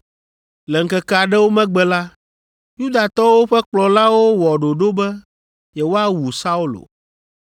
Le ŋkeke aɖewo megbe la, Yudatɔwo ƒe kplɔlawo wɔ ɖoɖo be yewoawu Saulo.